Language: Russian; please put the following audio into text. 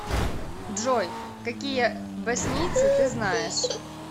джой какие боснийцы ты знаешь